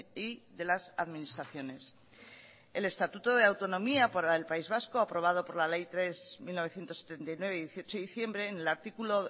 y de las administraciones el estatuto de autonomía para el país vasco aprobado por la ley tres barra mil novecientos setenta y nueve de dieciocho de diciembre en el artículo